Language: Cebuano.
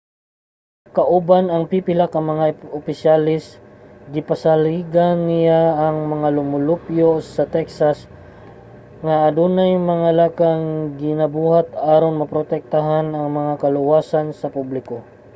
kauban ang pipila ka mga opisyales gipasaligan niya ang mga lumulupyo sa texas nga adunay mga lakang nga ginabuhat aron maprotektahan ang kaluwasan sa publiko